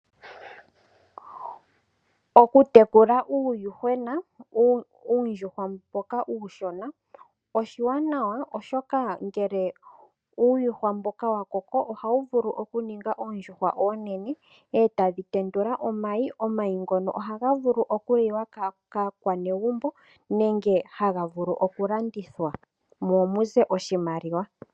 Okutekula uuyuhwena uundjuhwa mboka uushona oshiwanawa oshoka ngele uuyuhwa mboka wa koko ohawu vulu okuninga oondjuhwa oonene etadhi tendula omayi. Omayi ngono ohaga vulu okuliwa kaakwanegumbo nenge haga vulu oku landithwa mo muze oshimaliwa.